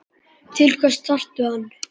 Til hvers þarftu hann?